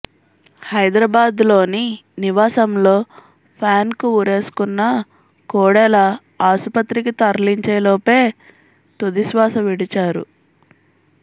హైదరాబాద్లోని నివాసంలో ఫ్యాన్కు ఉరేసుకున్న కోడెల ఆసుపత్రికి తరలించేలోపే తుదిశ్వాస విడిచారు